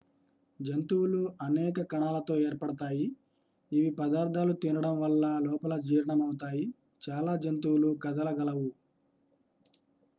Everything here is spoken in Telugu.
జంతువులు అనేక కణాలతో ఏర్పడతాయి ఇవి పదార్థాలు తినడం వల్ల లోపల జీర్ణమవుతాయి చాలా జంతువులు కదలగలవు